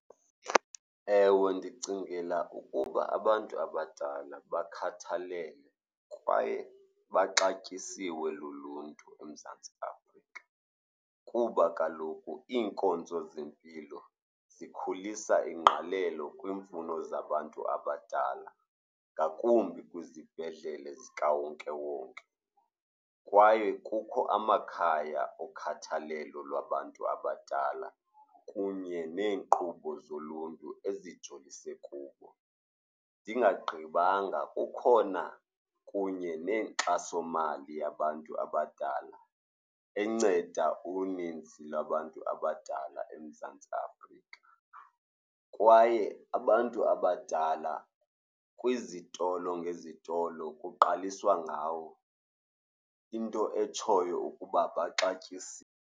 Ewe, ndicingela ukuba abantu abadala bakhathalelwe kwaye baxatyisiwe luluntu eMzantsi Afrika kuba kaloku iinkonzo zempilo zikhulisa ingqalelo kwiimfuno zabantu abadala, ngakumbi kwizibhedlele zikawonkewonke. Kwaye kukho amakhaya okhathalelo labantu abadala kunye neenkqubo zoluntu ezijongise kubo. Ndingagqibanga, kukhona kunye nenkxasomali yabantu abadala enceda uninzi lwabantu abadala eMzantsi Afrika. Kwaye abantu abadala kwizitolo ngezitolo kuqaliswa ngawo, into etshoyo ukuba baxatyisiwe.